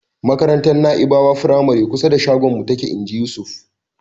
"Makarantar Na'ibawa firamare kusa da shagonmu take." Inji Yusuf.